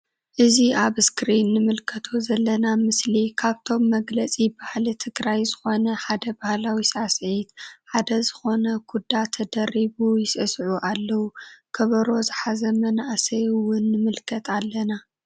እዚ አብ እስክሪን እንምልከቶ ዘለና ምስሊ ካብቶም መግለፂ ባህል ትግራይ ዝኮነ ሓደ ባህላዊ ሳዕስዒት ሓደ ዝኮነ ኩዳ ተደሪቡ ይስስዕስዑ አለዉ::ከበሮ ዝሓዘ መናእሰይ እውን ንምልከት አለና::